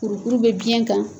Kurukuru bɛ biɲɛ kan.